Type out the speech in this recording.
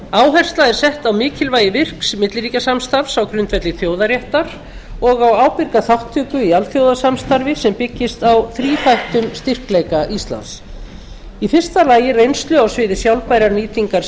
áhersla er sett á mikilvægi virks milliríkjasamstarfs á grundvelli þjóðaréttar og á ábyrga þátttöku í alþjóðasamstarfi sem byggist á þríþættum styrkleika íslands fyrstu reynslu á sviði sjálfbærrar nýtingar